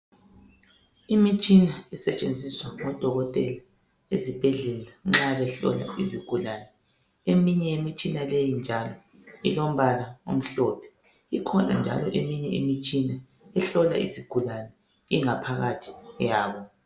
Imitshina esetshenziswa ngodokotela ezibhedlela nxa behlola izigulani, eminye yemitshina leyi njalo ilombala omhlophe ikhona njalo eminye imitshina ehlola izigulani ingaphakathi yabo